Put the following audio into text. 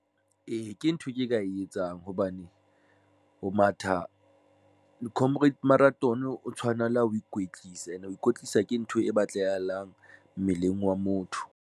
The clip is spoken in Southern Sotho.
Ee, ke ntho e ke e ka e etsang hobane ho matha le Comrade Marathon o tshwana le ha ho ikwetlisa ene ho ikwetlisa ke ntho e batlahalang mmeleng wa motho.